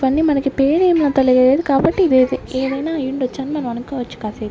ఇవన్నీ మనకి పేరు ఏమి అంత లేదు కాబట్టి ఇది ఏది ఏదైనా అయి ఉండొచ్చు అని మనం అనుకోవచ్చు కాసేపు.